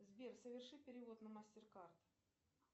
сбер соверши перевод на мастер кард